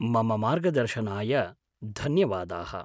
मम मार्गदर्शनाय धन्यवादाः।